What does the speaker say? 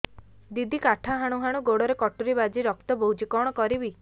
ଦିଦି କାଠ ହାଣୁ ହାଣୁ ଗୋଡରେ କଟୁରୀ ବାଜି ରକ୍ତ ବୋହୁଛି କଣ କରିବି